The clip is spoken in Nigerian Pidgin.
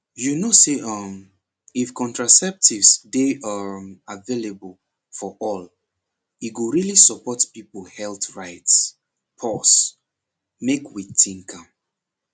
you know say um if contraceptives dey um available for all e go really support people health rights pause make we think am